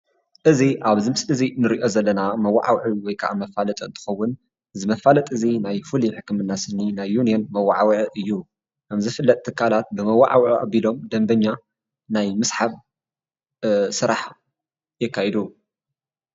እዚ ኣብዚ ምስሊ እዚ ንሪኦ መወዓውዒ ወይ ከዓ መፋለጢ እንትኸውን እዚ መፋለጢ እዚ ናይ ፍሉይ ሕክምና ስኒ ናይ ዩኒዮን መወዓውዒ እዩ፡፡ ከም ዝፍለጥ ትካላት በመወዓውዒ ኣቢሎም ደንበኛ ናይ ምስሓብ ስራሕ የካይዱ፡፡